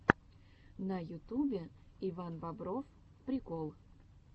на ютубе иван бобров прикол